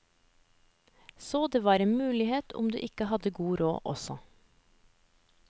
Så det var en mulighet om du ikke hadde god råd også.